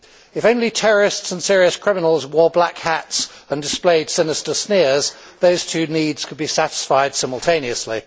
If only terrorists and serious criminals wore black hats and displayed sinister sneers, those two needs could be satisfied simultaneously.